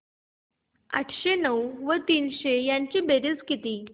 आठशे नऊ व तीनशे यांची बेरीज किती